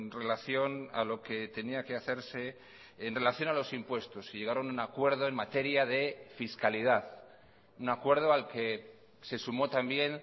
relación a lo que tenía que hacerse en relación a los impuestos y llegaron a un acuerdo en materia de fiscalidad un acuerdo al que se sumó también